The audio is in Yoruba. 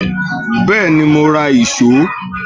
Bẹ́ẹ̀ni, mo ra ìṣó